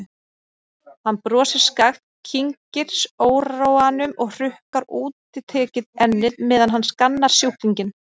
Hann brosir skakkt, kyngir óróanum og hrukkar útitekið ennið meðan hann skannar sjúklinginn.